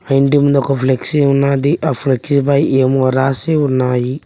Painting దొక flexi ఉన్నాది ఆ ఫ్లెక్సీ పై ఏమో రాసి ఉన్నాయి.